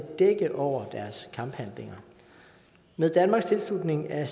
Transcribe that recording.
dække over deres kamphandlinger med danmarks tilslutning af